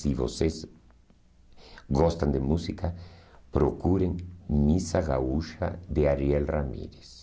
Se vocês gostam de música, procurem Missa Gaúcha de Ariel Ramírez.